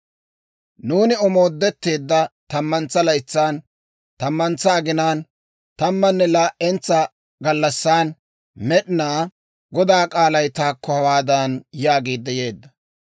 Nuuni omoodetteedda tammantsa laytsan, tammantsa aginaan, tammanne Laa"entsa gallassan, Med'inaa Godaa k'aalay taakko hawaadan yaagiidde yeedda;